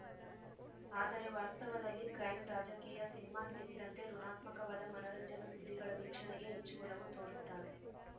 ಆದರೆ ವಾಸ್ತವದಲ್ಲಿ ಕ್ರೈಂ ರಾಜಕೀಯ ಸಿನಿಮಾ ಸೇರಿದಂತೆ ಋುಣಾತ್ಮಕವಾದ ಮನರಂಜನಾ ಸುದ್ದಿಗಳ ವೀಕ್ಷಣೆಗೆ ಹೆಚ್ಚು ಒಲವು ತೋರುತ್ತಾರೆ